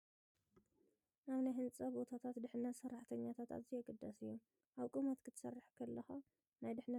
ኣብ ናይ ህንጻ ቦታታት ድሕነት ሰራሕተኛታት ኣዝዩ ኣገዳሲ እዩ። ኣብ ቁመት ክትሰርሕ ከለኻ ናይ ድሕነት መሳርሒታት ዘይምኽዳን ከቢድ ሓደጋታት ከስዕብ ይኽእል ድዩ ትብል?